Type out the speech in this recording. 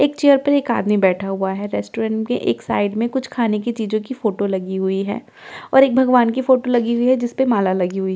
एक चेयर पर एक आदमी बैठा हुआ है रेस्टोरेंट के एक साइड में कुछ खाने की चीजों की फोटो लगी हुई है और एक भगवान की फोटो लगी हुई है जिस पर माला लगी हुई है।